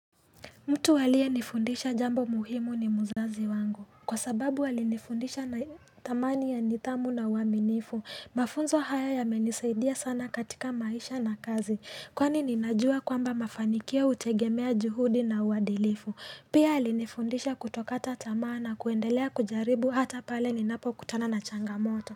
Mtu aliyenifundisha jambo muhimu ni muzazi wangu. Kwa sababu walinifundisha na thamani ya nidhamu na uaminifu. Mafunzo haya yamenisaidia sana katika maisha na kazi. Kwani ninajua kwamba mafanikio utegemea juhudi na uadilifu. Pia alinifundisha kutokata tamaa na kuendelea kujaribu hata pale ninapokutana na changamoto.